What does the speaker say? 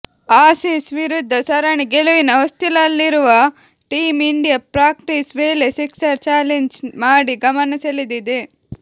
ಆಸಿಸ್ ವಿರುದ್ದ ಸರಣಿ ಗೆಲುವಿನ ಹೊಸ್ತಿಲಲ್ಲಿರುವ ಟೀಂ ಇಂಡಿಯಾ ಪ್ರಾಕ್ಟೀಸ್ ವೇಳೆ ಸಿಕ್ಸರ್ ಚಾಲೆಂಜ್ ಮಾಡಿ ಗಮನಸೆಳೆದಿದೆ